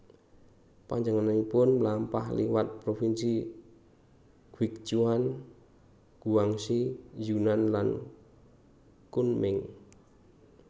Panjenenganipun mlampah liwat provinsi Guichuan Guangxi Yunnan lan Kunming